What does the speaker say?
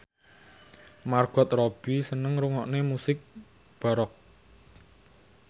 Margot Robbie seneng ngrungokne musik baroque